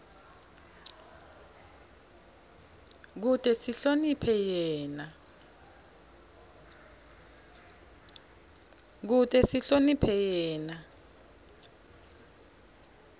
kute sihloniphe yena